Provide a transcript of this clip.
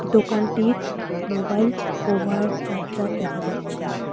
দোকানটির mobile cover charger দেখা যাচ্ছে।